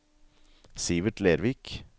Sivert Lervik